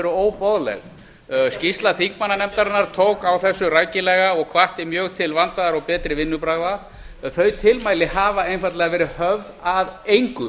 óboðleg skýrslu þingmannanefndarinnar tók á þessu rækilega og hvatti mjög til vandaðra og betri vinnubragða en þau tilmæli hafa einfaldlega verið höfð að engu